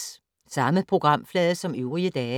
Samme programflade som øvrige dage